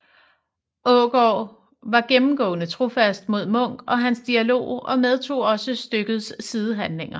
Aagaard var gennemgående trofast mod Munk og hans dialog og medtog også stykkets sidehandlinger